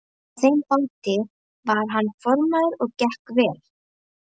Á þeim báti var hann formaður og gekk vel.